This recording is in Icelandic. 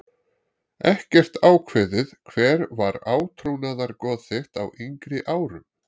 Ekkert ákveðið Hver var átrúnaðargoð þitt á yngri árum?